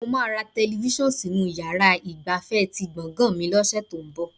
Mo máa ra tẹlifíṣàn sínú yàrá ọgbà ti gbọ̀gàn mi lọ́sẹ̀ tó ń bọ̀